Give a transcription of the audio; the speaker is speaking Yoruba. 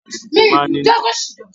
Alùpùpù máa ń ní iná àgbesórí.